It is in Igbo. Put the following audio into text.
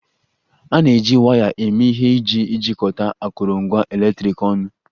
A na-eji waya eme ihe iji jikọta akụrụngwa eletriki ọnụ